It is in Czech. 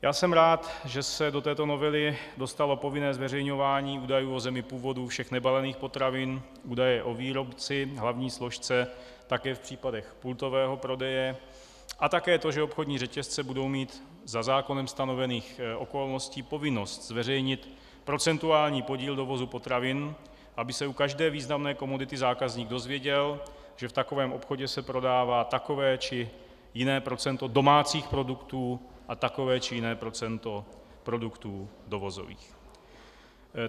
Já jsem rád, že se do této novely dostalo povinné zveřejňování údajů o zemi původu všech nebalených potravin, údaje o výrobci, hlavní složce také v případě pultového prodeje a také to, že obchodní řetězce budou mít za zákonem stanovených okolností povinnost zveřejnit procentuální podíl dovozu potravin, aby se u každé významné komodity zákazník dozvěděl, že v takovém obchodě se prodává takové či jiné procento domácích produktů a takové či jiné procento produktů dovozových.